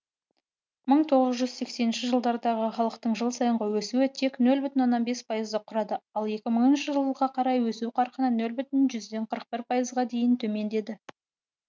мың тоғыз жүз сексенінші жылдардағы халықтың жыл сайынғы өсуі тек нөл бүтін оннан бес пайызды құрады ал екі мыңыншы жылға қарай өсу қарқыны нөл бүтін жүзден қырық бір пайызға дейін төмендеді